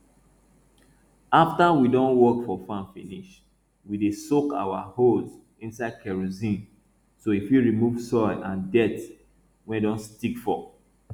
after we don work for farm finish we dey soak our hoes inside kerosine so e fit remove soil and dirt wey don stick for